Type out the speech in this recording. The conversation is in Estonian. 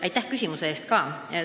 Aitäh küsimuse eest!